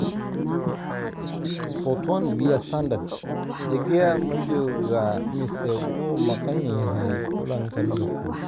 (Sport 1, via Standard) De Gea ma joogaa mise wuu maqan yahay kulanka Liverpool?